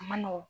A ma nɔgɔn